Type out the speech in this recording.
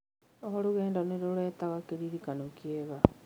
O rũgendo nĩ rũrehaga kĩririkano kĩega.